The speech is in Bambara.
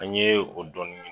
An ye o dɔɔni